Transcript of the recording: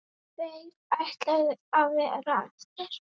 Tveir ætluðu að verða eftir.